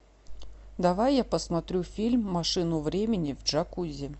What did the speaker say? давай я посмотрю фильм машину времени в джакузи